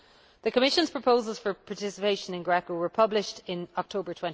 The Commission's proposals for participation in GRECO were published in October